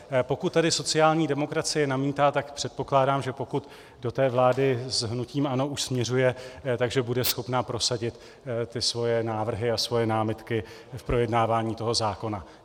Pokud tady sociální demokracie namítá, tak předpokládám, že pokud do té vlády s hnutím ANO už směřuje, že bude schopna prosadit ty svoje návrhy a svoje námitky k projednávání toho zákona.